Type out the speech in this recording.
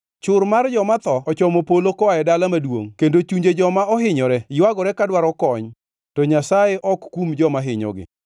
Chur mar joma tho ochomo polo koa e dala maduongʼ kendo chunje joma ohinyore ywagore ka dwaro kony, to Nyasaye ok okum joma hinyogi.